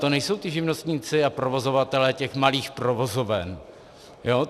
To nejsou ti živnostníci a provozovatelé těch malých provozoven.